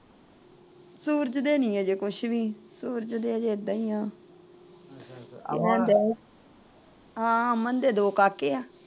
ਸੂਰਜ ਦੇ ਨਹੀਂ ਅਜੇ ਕੁਛ ਵੀ। ਸੂਰਜ ਤਾ ਏਦਾਂ ਈ ਆ। ਹਾਂ ਅਮਨ ਦੇ ਦੋ ਕਾਕੇ ਆ।